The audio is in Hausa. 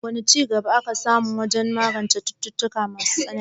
Wane ci gaba aka samu wajen magance cututtuka masu tsanani?